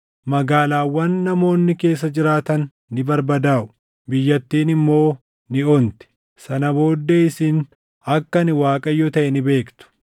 Magaalaawwan namoonni keessa jiraatan ni barbadaaʼu; biyyattiin immoo ni onti. Sana booddee isin akka ani Waaqayyo taʼe ni beektu.’ ”